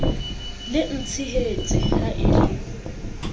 le ntshehetse ha e le